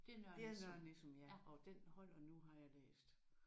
Det er Nørre Nissum ja og den holder nu har jeg læst